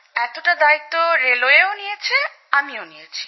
এতটা দায়িত্ব রেলওয়েও নিয়েছে আমিও নিয়েছি